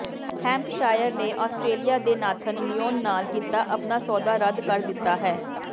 Hampshire ਨੇ Australia ਦੇ Nathan Lyon ਨਾਲ ਕੀਤਾ ਆਪਣਾ ਸੌਦਾ ਰੱਦ ਕਰ ਦਿੱਤਾ ਹੈ